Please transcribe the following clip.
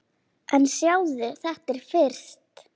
En sjáðu þetta fyrst!